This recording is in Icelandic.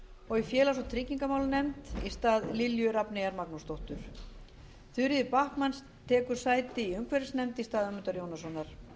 og í félags og tryggingamálanefnd í stað lilju rafneyjar magnúsdóttur þuríður backman tekur sæti í umhverfisnefnd í stað ögmundar jónassonar